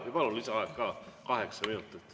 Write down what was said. Jaa, palun, lisaaeg ka, kokku kaheksa minutit.